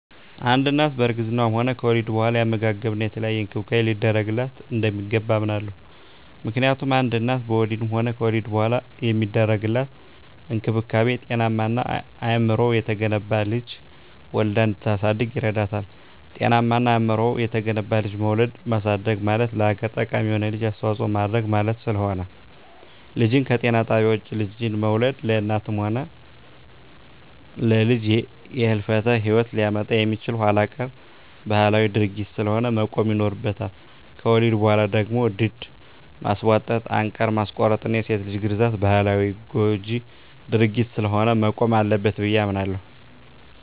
አንድ እናት በእርግዝናዋም ሆነ ከወሊድ በኋላ የአመጋገብና የተለያየ እንክብካቤ ሊደረግላት እንደሚገባ አምናለሁ። ምክንያቱም አንድ እናት በወሊድም ሆነ ከወሊድ በኋላ የሚደረግላት እንክብካቤ ጤናማና አእምሮው የተገነባ ልጅ ወልዳ እንድታሳድግ ይረዳታል። ጤናማና አእምሮው የተገነባ ልጅ መውለድና ማሳደግ ማለት ለሀገር ጠቃሚ የሆነ ልጅ አስተዋጽኦ ማድረግ ማለት ስለሆነ። ልጅን ከጤና ጣቢያ ውጭ ልጅን መውለድ ለእናትም ሆነ ለልጅ የህልፈተ ሂወት ሊያመጣ የሚችል ኋላቀር ባህላዊ ድርጊት ስለሆነ መቆም ይኖርበታል። ከወሊድ በኋላ ደግሞ ድድ ማስቧጠጥ፣ አንቃር ማስቆረጥና የሴት ልጅ ግርዛት ባህላዊና ጎጅ ድርጊት ስለሆነ መቆም አለበት ብየ አምናለሁ።